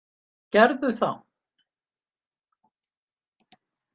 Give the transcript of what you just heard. Gerðu það.